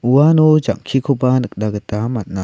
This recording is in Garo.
uano jang·kikoba nikna gita man·a.